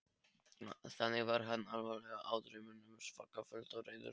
Þannig var hann allavega í draumnum, svaka fúll og reiður.